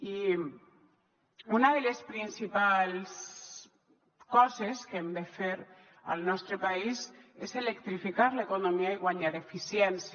i una de les principals coses que hem de fer al nostre país és electrificar l’economia i guanyar eficiència